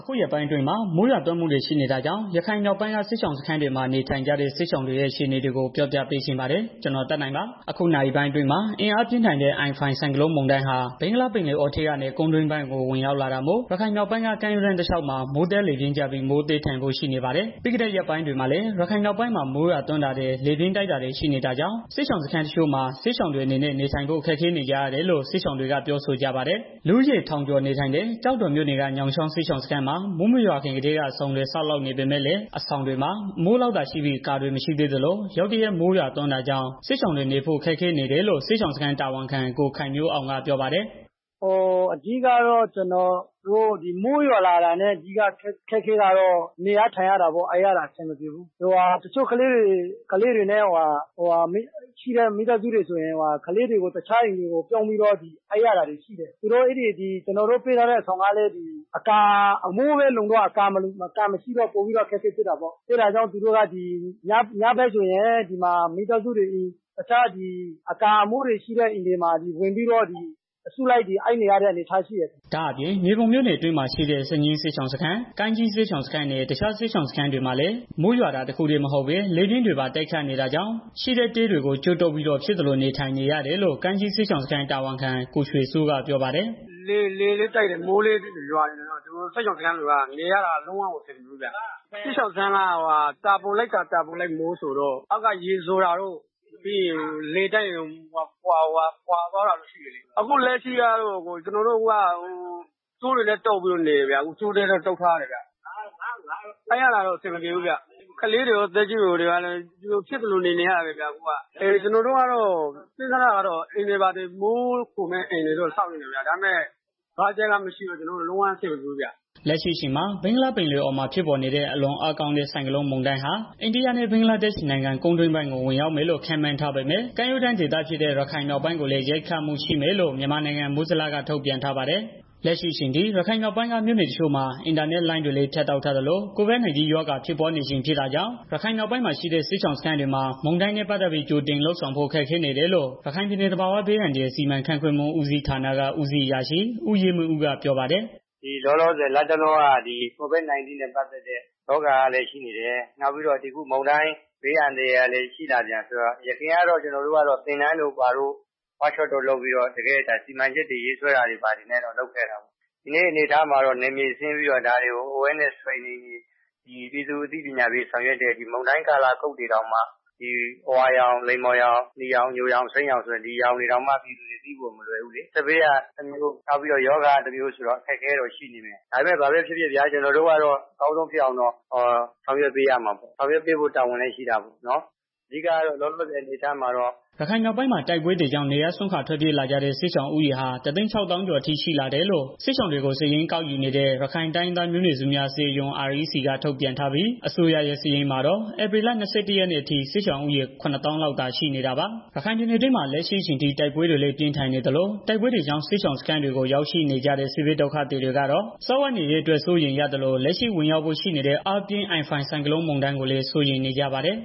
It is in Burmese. ခုရက်ပိုင်းအတွင်းမှာ မိုးရွာသွန်းမှုတွေ ရှိနေတာကြောင့် ရခိုင်မြောက်ပိုင်းက စစ်ရှောင်စခန်းတွေက စစ်ရှောင်တွေရဲ့ အခြေအနေတွေကို ပြောပြပေးချင်ပါတယ်။ ဒီအကြောင်းဗွီအိုအေမြန်မာပိုင်းသတင်းထောက် ကိုသက်နိုင်က တင်ပြပေးပါမယ်။ အခု နာရီပိုင်းအတွင်းမှာ အင်အားပြင်းထန်တဲ့ Amphan ဆိုက်ကလုန်းမုန်တိုင်းဟာ ဘင်္ဂလားပင်လယ်အော်ထဲကနေ ကုန်းတွင်းပိုင်း ဝင်ရောက်တာမှာမို့ ရခိုင်မြောက်ပိုင်းကမ်းရိုးတန်းတလျှောက်မှာ မိုးသက်လေပြင်းကျပြီး မိုးသည်းထန်ဖို့ ရှိနေပါတယ်။ ပြီးခဲ့တဲ့ရက်ပိုင်းအတွင်းမှာလည်း ရခိုင်မြောက်ပိုင်းမှာ မိုးရွာသွန်းတောတွေ လေပြင်းတိုက်တာတွေ ရှိနေတာကြောင့် စစ်ရှောင်စခန်းတချို့မှာ စစ်ရှောင်တွေအနေနဲ့ နေထိုင်ဖို့ ခက်ခဲနေကြရတယ်လို့ စစ်ရှောင်တွေက ပြောဆိုကြပါတယ်။ လူ ဦးထောင်ကျော်နေထိုင်တဲ့ ကျောက်တော်မြို့နယ်က ညောင်ချောင်းစစ်ရှောင်စခန်းမှာ မိုးမရွာခင်ကတည်းက အဆောင်တွေ ဆောက်လုပ်ပေမယ့် အဆောင်တွေမှာ အမိုးလောက်သာရှိပြီး အကာတွေ မရှိသေးသလို ရုတ်တရက် မိုးရွာသွန်းတာကြောင့် စစ်ရှောင်တွေ နေဖို့ ခက်ခဲနေတယ်လို့ စစ်ရှောင်စခန်းတာဝန်ခံ ကိုခိုင်မျိုးအောင်က ပြောပါတယ်။ "အဓိကတော့ ကျနော်တို့ မိုးရွာလာတာနဲ့ နေရထိုင်ရ အိပ်ရတာ အဆင်မပြေဘူး။ တချို့ ကလေးတွေ ရှိတဲ့ မိသားစုတွေ ဆိုရင် ကလေးတွေကို တခြားအိမ်တွေကို ပြောင်းပြီးတော့ အိပ်ရတာတွေ ရှိတယ်။ ကျနော်တို့ ပေးထားတဲ့ အဆောင်တွေကလည်း အမိုးပဲ လုံတော့ အကာမရှိတော့ ပိုပြီးတော့ ခက်တာတော့ အဲတာကြောင့် သူတို့က ညဘက်ဆိုရင် တစ်ခြားအကာအမိုးတွေ ရှိတဲ့ အိမ်တွေမှာ ဝင်ပြီးတော့ အစုလိုက် အိပ်ကြရတယ်။" ဒါအပြင့် မြေပုံမြို့နယ်အတွင်းမှာ ရှိတဲ့ စညင်းစစ်ရှောင်စခန်း ကိုင်းကြီးစစ်ရှောင်စခန်းနဲ့ တစ်ခြားစစ်ရှောင်စခန်းတွေမှာ မိုးရွာတာ တစ်ခုတည်း မဟုတ်ဘဲ လေပြင်းပါ တိုက်ခတ်တာကြောင့် ရှိတဲ့တဲတွေကို ကြိုးတုတ်ပြီးတော့ ဖြစ်သလို နေထိုင်နေရတယ်လို့ ကိုင်းကြီး စစ်ရှောင်စခန်းတာဝန်ခံ ကိုရွှေစိုးက ပြောပါတယ်။ "လေလည်းတိုက်တယ်၊ မိုးလည်း ရွာတယ်ဆိုတော့ စခန်းမှာနေရတာ ဘယ်လိုမှ အဆင်မပြေဘူး။ စစ်ရှောင်စခန်းက တာဘော်လိပ်မိုး၊ တာဘော်လိပ်ကာဆိုတော့ အောက်က ရေစိုတာတို့ လေတိုက်ရင်လည်း ကွာသွားတာတို့ ရှိတယ်လေ အခုလက်ရှိကတော့ တဲတွေကို ကြိုးတွေနဲ့ တုတ်ပြီးတော့ နေတာပေါ့။ အိပ်ရတာလည်း အဆင်မပြေဘူး။ ကလေးတွေရော လူကြီးတွေရော ဖြစ်သလို နေနေရတယ်ဗျာ။ ကျနော်တို့ စဉ်းစားထားတာကတော့ မိုးခို မယ့် အိမ်တွေ ဆောက်မယ်လို့ ဒါပေမဲ့ ငွေမရှိတော့ ဘာမှလုပ်လို့မရဘူး။" လက်ရှိအချိန်မှာ ဘင်္ဂလားပင်လယ်အော်မှာ ဖြစ်ပေါ်နေတဲ့ အလွန်အားကောင်းတဲ့ ဆိုင်ကလုန်းမုန်တိုင်းဟာလည်းအိန္ဒိယနဲ့ ဘင်္ဂလားဒေ့ရ်ှနိုင်ငံကုန်းတွင်းပိုင်း ဝင်ရောက်မယ်လို့ ခန့်မှန်းထားပေမဲ့ ကမ်းရိုးတန်းဒေသဖြစ်တဲ့ ရခိုင်မြောက်ပိုင်းကိုလည်း ရိုက်ခတ်မှုရှိမယ်လို့မြန်မာနိုင်ငံ မိုးဇလက ထုတ်ပြန်ထားပါတယ်။ လက်ရှိအချိန်ထိ ရခိုင်မြောက်ပိုင်းက မြို့နယ်တစ်ချို့မှာ အင်တာနက်လိုင်းတွေလည်း ဖြတ်တောက်ထားသလို COVID-19 ရောဂါဖြစ်ပွားနေချိန်ဖြစ်တာကြောင့် ရခိုင်မြောက်ပိုင်းမှာ ရှိတဲ့ စစ်ရှောင်စခန်းတွေမှာ မုန်တိုင်းနဲ့ ပတ်သတ်ပြီး ကြိုတင်လုပ်ဆောင်ဖို့ ခက်ခဲနေတယ်လို့ ရခိုင်ပြည်နယ် သာဘာဝဘေးအန္တရာယ်စီမံခန့်ခွဲရေးဦးစီးဌာန ဦးစီးအရာရှိ ဦးရဲမင်းဦးက ပြောပါတယ်။ "လောလောဆယ် လက်တလောကတော့ COVID -19 ရောဂါလည်း ရှိနေတော့ နောက်ပြီးတော့ မုန်တိုင်းဘေး အန္တာရယ်ကလည်းရှိနေတော့ ယခင်ကတော့ ကျနော်တို့ကတော့ သင်တန်းတို့ဘာတို့ လုပ်ပြီးတော့ စီမံချက် တွေရေးဆွဲတာတွေ လုပ်ခဲ့တယ်။ အခုအနေအထားမှာတော့ ဒါတွေကို နယ်မြေဆင်းပြီးတော့ ပြည်သူတွေ ကိုအသိပညာပေးဖို့ဆိုတာက မလွယ်ဘူးလေ။ မုန်တိုင်းကာလ ကုတ်တွေ အဝါရောင် အနီရောင် အညိုရောင် အစိမ်းရောင် ဆိုပြီးတောင်မှ ပြည်သူတွေ သိဖို့မလွယ်ဘူးလေ။ ရောဂါကတစ်မျိုး စစ်ဘေးကတစ်မျိုးဆိုတော့ အခက်အခဲကတော့ ရှိနေတာပဲလေ။ ဘာပဲဖြစ်ဖြစ်ဗျာ ကျနော်တို့ကတော့ အကောင်းဆုံးဖြစ်အောင် ဆောင်ရွက်ရမှာပဲ ဆောင်ရွက်ပေးဖို့လည်း တာဝန်ရှိတာပေါ့။" ရခိုင်မြောက်ပိုင်းမှာ တိုက်ပွဲတွေကြောင့် နေရပ်စွန့်ခွာထွက်ပြေးလာကြတဲ့ စစ်ရှောင်ဦးရေဟာ ၁၆၀,၀၀၀ ကျော် အထိရှိလာတယ်လို့ စစ်ရှောင်တွေကို စာရင်းကောက်ယူနေတဲ့ ရခိုင်တိုင်းရင်းသားမျိုးနွယ်စုများ အစည်းအရုံး က ထုတ်ပြန်ထားပြီး အစိုးရရဲ့ စာရင်းမှာတော့ ဧပြီလ ၂၁ ရက်နေ့အထိ စစ်ရှောင်ဦးရေ ၇၀,၀၀၀ လောက်သာ ရှိနေတာပါ။ ရခိုင်ပြည်နယ်အတွင်းမှာ လက်ရှိအချိန်ထိ တိုက်ပွဲတွေလည်း ပြင်းထန်နေသလို တိုက်ပွဲတွေကြောင့် စစ်ရှောင်စခန်းတွေကို ရောက်ရှိနေကြတဲ့ စစ်ဘေးဒုက္ခသည်တွေကတော့ စားဝတ်နေရေးအတွက် စိုးရိမ်ရသလို လက်ရှိဝင်ရောက်ဖို့ရှိနေတဲ့ အားပြင်း ဆိုင်ကလုန်းမုန်တိုင်းကိုလည်း စိုးရိမ်နေကြပါတယ်